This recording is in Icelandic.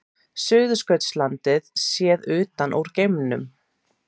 Suðurskautslandið séð utan úr geimnum.